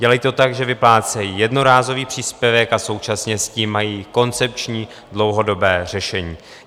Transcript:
Dělají to tak, že vyplácejí jednorázový příspěvek a současně s tím mají koncepční dlouhodobé řešení.